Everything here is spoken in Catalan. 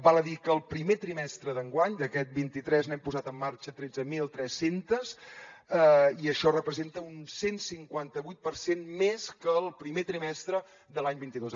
val a dir que el primer trimestre d’enguany d’aquest vint tres n’hem posat en marxa tretze mil tres cents i això representa un cent i cinquanta vuit per cent més que el primer trimestre de l’any vint dos